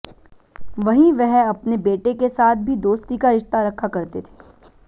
वहीं वह अपने बेटे के साथ भी दोस्ती का रिश्ता रखा करते थे